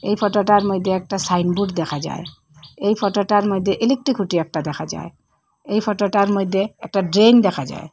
এই ফটোটার মইদ্যে একটা সাইনবোর্ড দেখা যার এই ফটোটার মইদ্যে ইলেকট্রিক খুঁটি একটা দেখা যায় এই ফটোটার মইদ্যে একটা ড্রেন দেখা যায়।